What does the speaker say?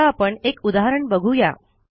आता आपण एक उदाहरण बघू या